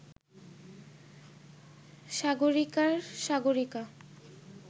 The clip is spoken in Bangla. সাগরিকার সাগরিকা